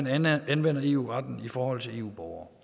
at man anvender eu retten i forhold til eu borgere